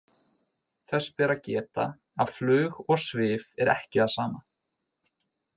Þess ber að geta að flug og svif er ekki það sama.